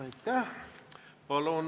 Aitäh!